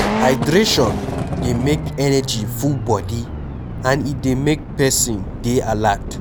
hydration dey make energy full body and e dey make person dey alert